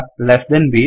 less than B